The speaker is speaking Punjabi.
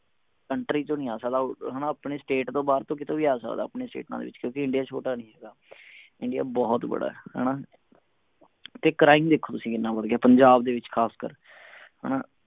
country ਚੋ ਨਹੀਂ ਆ ਸਕਦਾ ਹਣਾ ਆਪਣੇ state ਤੋਂ ਬਾਹਰ ਕਿਤੋਂ ਵੀ ਆ ਸਕਦਾ ਆਪਣੀਆਂ ਸਟੇਟਾਂ ਦੇ ਵਿਚ ਕਿਓਂਕਿ ਇੰਡੀਆ ਛੋਟਾ ਨਹੀ ਹੈਗਾ ਇੰਡੀਆ ਬਹੁਤ ਬੜਾ ਹਣਾ ਤੇ crime ਦੇਖੋ ਤੁਸੀਂ ਕਿੰਨਾ ਵੱਧ ਗਿਆ ਪੰਜਾਬ ਦੇ ਵਿਚ ਖਾਸ ਕਰਕੇ ਹਣਾ